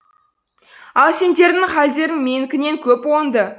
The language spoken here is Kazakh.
ал сендердің хәлдерің менікінен көп оңды